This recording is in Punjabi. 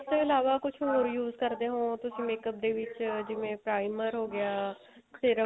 ਇਸ ਤੋਂ ਇਲਾਵਾ ਕੁੱਝ ਹੋਰ use ਕਰਦੇ ਹੋਵੋ makeup ਦੇ ਵਿੱਚ ਜਿਵੇਂ primer ਹੋ ਗਿਆ serum